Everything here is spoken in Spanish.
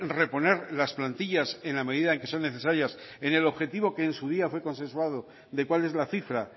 reponer las plantillas en la medida en que son necesarias en el objetivo que en su día fue consensuado de cuál es la cifra